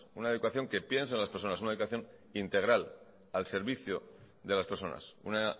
una educación que piensa en las personas una educación integral al servicio de las personas una